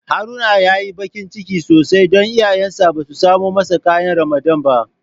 Haruna ya yi bakin ciki sosai don iyayensa ba su samo masa ƙayan Ramadan ba.